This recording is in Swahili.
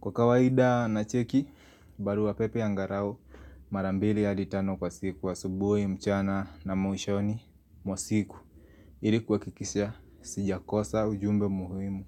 Kwa kawaida na cheki, barua pepe angalau marambili hadi tano kwa siku asubuhi, mchana, na mwishoni mwa siku hili kuhakikisha sijakosa ujumbe muhimu.